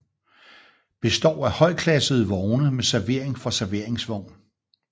Består af højklassede vogne med servering fra serveringsvogn